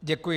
Děkuji.